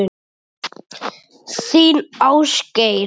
Þinn Ásgeir.